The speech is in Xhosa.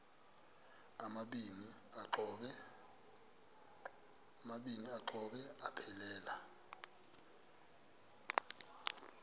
amabini exhobe aphelela